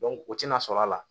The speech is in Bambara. o tɛna sɔrɔ a la